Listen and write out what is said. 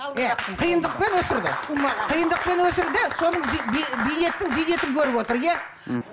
иә қиындықпен өсірді қиындықпен өсірді соның бейнеттің зейнетін көріп отыр иә мхм